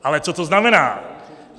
Ale co to znamená?